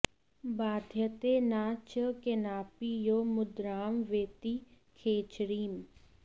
बाध्यते न च केनापि यो मुद्रां वेत्ति खेचरीम्